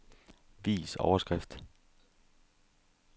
Vis overskrift.